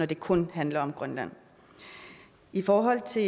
det kun handler om grønland i forhold til